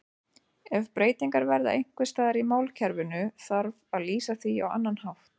Ef breytingar verða einhvers staðar í málkerfinu þarf að lýsa því á annan hátt.